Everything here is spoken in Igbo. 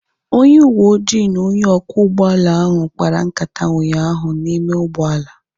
Onye uweojii na onye ọkwọ ụgbọala ahụ kpara nkata ụnyaahụ n'ime ụgbọala